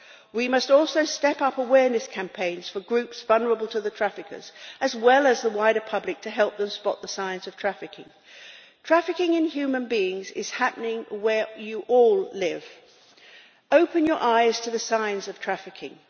We must also step up awareness campaigns for groups vulnerable to the traffickers, as well as the wider public, to help them spot the signs of trafficking. Trafficking in human beings is happening where you all live. Open your eyes to the signs of trafficking.